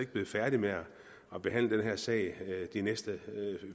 blevet færdig med at behandle den her sag de næste